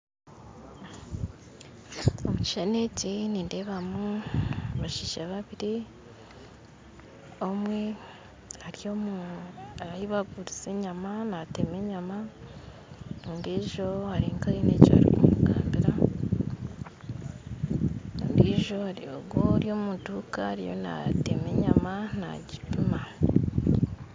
Omu kishushani eki nindeebamu abashaija babiiri omwe ari ahu barikuguriza enyama nateema enyama ondiijo ari nka aine eki arikumugambira ondiijo ari nka ari omuduuka nateema enyama naagimpima